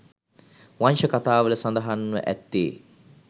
වංශ කතාවල සඳහන්ව ඇත්තේ